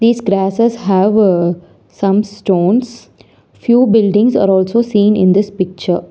These grasses have some stones few buildings are also seen in this picture.